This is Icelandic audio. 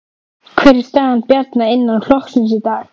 Sindri: Hver er staða Bjarna innan flokksins í dag?